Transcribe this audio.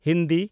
Hindi